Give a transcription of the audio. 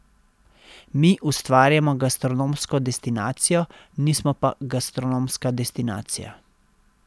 Mi ustvarjamo gastronomsko destinacijo, nismo pa gastronomska destinacija.